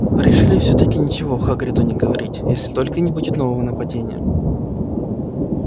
порешили всё-таки ничего хагриду не говорить если только не будет нового нападения